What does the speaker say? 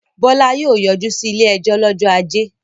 Bọ́lá yóò yọjú sí ilé-ẹjọ́ lọ́jọ́ ajé.